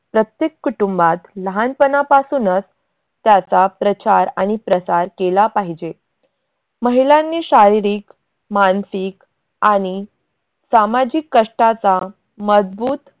प्रत्येक कुटुंबात लाहानपनापासूनच त्याचा प्रचार आणि प्रसार केला पाहिजे. महिलांनी शारिरीक, मानसिक आणि सामाजिक कष्टाचा मजबूत